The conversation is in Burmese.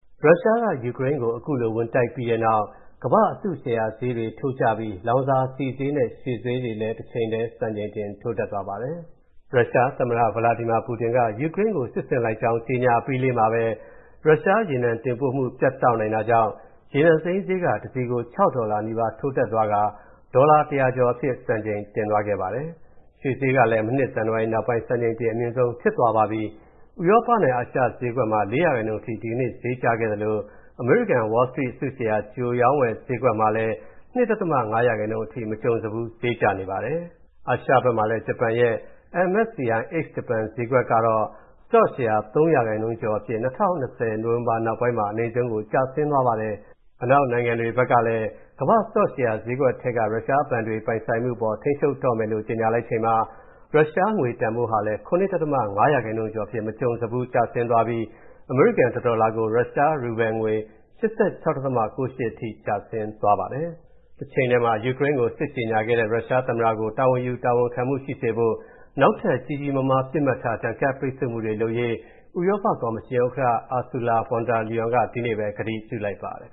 ရုရှားက ယူကရိန်းကို ဝင်တိုက်ပြီးတဲ့နောက် ကမ္ဘာ့အစုရှယ်ရာဈေးတွေ ထိုးကျပြီး လောင်စာဆီဈေးနဲ့ ရွှေဈေးတွေ စံချိန်တင် ထိုးတက်သွားပါတယ်။ ရုရှားသမ္မတ Vladimir Putin က ယူကရိန်းကို စစ်ဆင်လိုက်ကြောင်း ကြေညာအပြီးမှာပဲ ရုရှားရေနံတင်ပို့မူပြတ်နိုင်တာကြောင့် ရေနံစိမ်းတစည်ကို ၆ ဒေါ်လာ နီးပါး ထိုးတက်သွားကာ ဒေါ်လာ ၁၀၀ ကျော်အဖြစ် စံချိန်တင်သွားပါတယ်။ ရွှေဈေးကလည်း မနှစ် ဇန်နဝါရီနောက်ပိုင်း စံချိန်တင်အမြင့်ဆုံးဖြစ်သွားပါပြီ။ ဥရောပနဲ့အာရှဈေးကွက်မှာ ၄% အထိ ဒီကနေ့ ဈေးကျခဲ့သလို အမေရိကန် Wall Street အစုရှယ်ယာ ကြိုရောင်းကြိုဝယ် ဈေးကွက်မှာလည်း ၂.၅% အထိ မကြုံစဖူး ဈေးကျနေပါတယ်။ အာရှဘက်မှာလည်း ဂျပန်ရဲ့ MSCI Ex-Japan ဈေးကွက် စတော့ရှယ်ရာ ၃% ကျော်အဖြစ် ၂၀၂၀ နိုဝင်ဘာနောက်ပိုင်းမှာ အနိမ့်ဆုံးကို ကျဆင်းသွားပါတယ်။ အနောက်နိုင်ငံတွေဘက်ကလည်း ကမ္ဘာ့စတော့ရှယ်ရာဈေးကွက်ထဲက ရုရှားဘဏ်တွေပိုင်ဆိုင်မူအပေါ် ထိန်းချုပ်တော့မယ်လို့ ကြေညာလိုက်ချိန်မှာ ရုရှားငွေတန်ဖိုးဟာလည်း ၇.၅% ကျော်အဖြစ် မကြုံစဖူးကျဆင်းကာ အမေရိကန် တဒေါ်လာကို ရုရှား ရူဘယ်လ်ငွေ ၈၆.၉၈ ထိ ကျသွားပါတယ်။ တချိန်ထဲမှာ ယူကရိန်းကို စစ်ကြေညာခဲ့တဲ့ ရုရှားသမ္မတကို တာဝန်ယူတာဝန်ခံမူရှိစေဖို့ နောက်ထပ် ကြီးကြီးမားမား ပစ်မှတ်ထား ဒဏ်ခတ်ပိတ်ဆို့မူတွေလုပ်ရေး ဥရောပကော်မရှင်ဥက္ကဋ္ဌ Ursula von der Leyen က ဒီနေ့ပဲ ကတိပြုလိုက်ပါတယ်